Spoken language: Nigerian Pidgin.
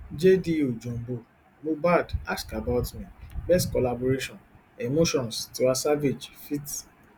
jdo johnbull mohbad ask about me best collaboration emotions tiwa savage feat